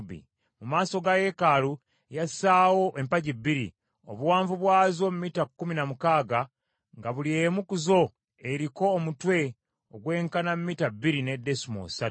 Mu maaso ga yeekaalu yassaawo empagi bbiri, obuwanvu bwazo mita kkumi na mukaaga, nga buli emu ku zo eriko omutwe ogwenkana mita bbiri ne desimoolo ssatu.